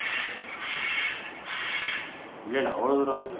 இல்ல இல்ல அவ்வளவு தூரம் வந்ததில்ல